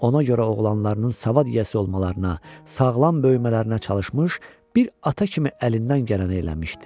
Ona görə oğlanlarının savad yiyəsi olmalarına, sağlam böyümələrinə çalışmış, bir ata kimi əlindən gələni eləmişdi.